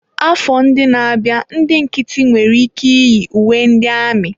Afọ ndị na-abịa, ndị nkịtị nwere ike yi uwe ndị amị.